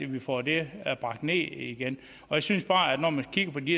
vi får det bragt ned igen jeg synes bare når man kigger på de